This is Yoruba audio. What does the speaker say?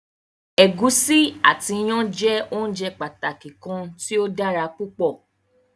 Ẹ̀gúsí ati iyán jẹ óunjẹ pàtàki kan tí o dára púpọ̀.